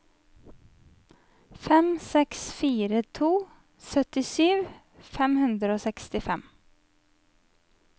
fem seks fire to syttisju fem hundre og sekstifem